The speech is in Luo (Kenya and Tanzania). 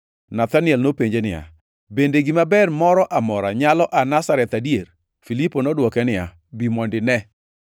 Nathaniel nopenje niya, “Bende gima ber moro amora nyalo aa Nazareth adier?” Filipo nodwoke niya, “Bi mondo ine.”